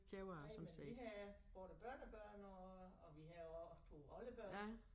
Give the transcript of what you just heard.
Nej men vi har både børnebørn og og vi har også 2 oldebørn